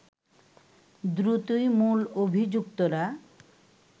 দ্রুতই মূল অভিযুক্তরা